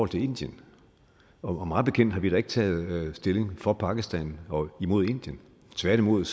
til indien og mig bekendt har vi da ikke taget stilling for pakistan og imod indien tværtimod